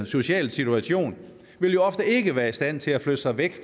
social situation vil jo ofte ikke være i stand til at flytte sig ved